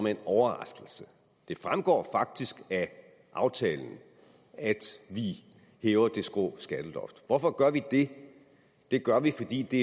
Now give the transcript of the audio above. en overraskelse det fremgår faktisk af aftalen at vi hæver det skrå skatteloft hvorfor gør vi det det gør vi fordi det